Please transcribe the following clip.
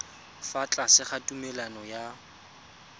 fa tlase ga tumalano ya